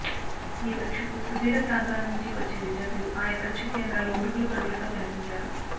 ఈ పరీక్షకు సుదూర ప్రాంతాల నుంచి వచ్చే విద్యార్ధులు ఆయా పరీక్ష కేంద్రాలలో ఉరుకుల పరుగులతో కనిపించారు